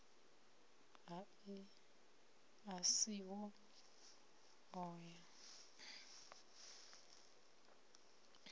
a si ho o ya